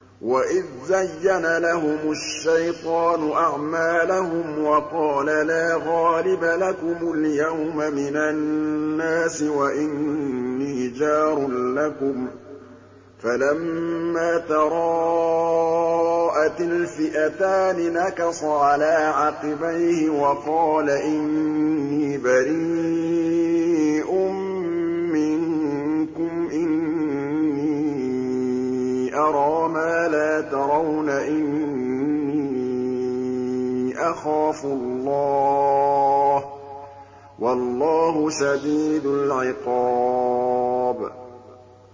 وَإِذْ زَيَّنَ لَهُمُ الشَّيْطَانُ أَعْمَالَهُمْ وَقَالَ لَا غَالِبَ لَكُمُ الْيَوْمَ مِنَ النَّاسِ وَإِنِّي جَارٌ لَّكُمْ ۖ فَلَمَّا تَرَاءَتِ الْفِئَتَانِ نَكَصَ عَلَىٰ عَقِبَيْهِ وَقَالَ إِنِّي بَرِيءٌ مِّنكُمْ إِنِّي أَرَىٰ مَا لَا تَرَوْنَ إِنِّي أَخَافُ اللَّهَ ۚ وَاللَّهُ شَدِيدُ الْعِقَابِ